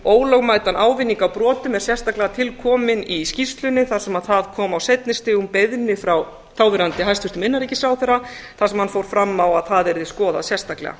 ólögmætan ávinning af brotum er sérstaklega til komin í skýrslunni þar sem það kom á seinni stigum beiðni frá þáverandi hæstvirtum innanríkisráðherra þar sem hann fór fram á að það yrði skoðað sérstaklega